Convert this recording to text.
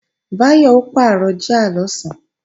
Báyọ̀ ó pàrọ̀ jíà lọ̀sán